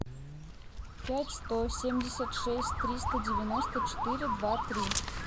пять сто семьдесят шесть триста девяносто четыре два три